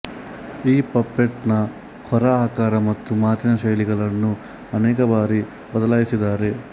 ಈ ಪಪೆಟ್ ನ ಹೊರಆಕಾರ ಮತ್ತು ಮಾತಿನ ಶೈಲಿಗಳನ್ನು ಅನೇಕಬಾರಿ ಬದಲಾಯಿಸಿದ್ದಾರೆ